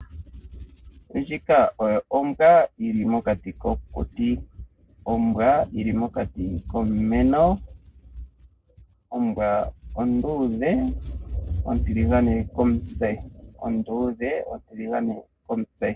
Ndjika oyo ombwa yili mokati kokuti, ombwa onduudhe ontiligane komutse.